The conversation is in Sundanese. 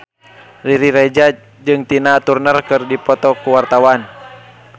Riri Reza jeung Tina Turner keur dipoto ku wartawan